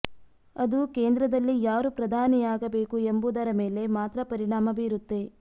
ಅದು ಕೇಂದ್ರದಲ್ಲಿ ಯಾರು ಪ್ರಧಾನಿಯಾಗಬೇಕು ಎಂಬುದರ ಮೇಲೆ ಮಾತ್ರ ಪರಿಣಾಮ ಬೀರುತ್ತೆ